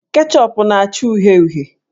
Ketchup na-acha uhie uhie.